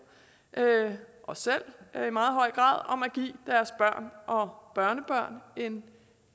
og selv om at give børn og børnebørn en